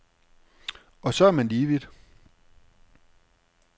Og så er man lige vidt.